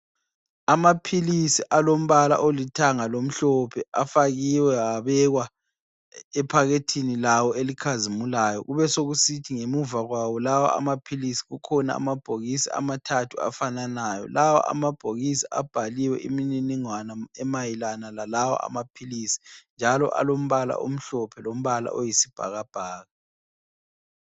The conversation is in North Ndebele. Amaphilisi alombala olithanga lomhlophe afakiwe abekwa ephakethini lawo elikhazimulayo kube sokusithi ngemuva kwawo lawa amaphilisi kukhona amabhokisi amathathu afananayo, lawa amabhokisi abhaliwe imininingwane emayelana lalawa amaphilisi njalo alombala omhlophe lombala oyisibhakabhaka.